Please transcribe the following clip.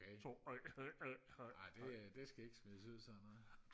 ej det det skal ikke smides ud sådan noget